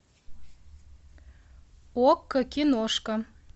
окко киношка